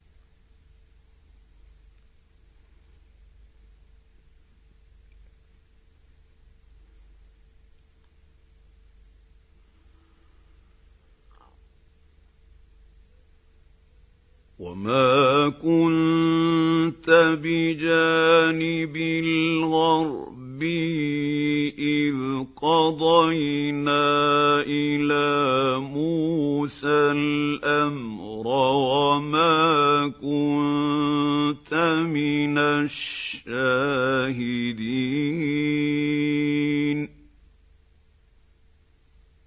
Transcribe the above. وَمَا كُنتَ بِجَانِبِ الْغَرْبِيِّ إِذْ قَضَيْنَا إِلَىٰ مُوسَى الْأَمْرَ وَمَا كُنتَ مِنَ الشَّاهِدِينَ